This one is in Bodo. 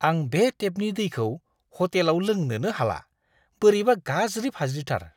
आं बे टेपनि दैखौ ह'टेलाव लोंनोनो हाला, बोरैबा गाज्रि-फाज्रिथार!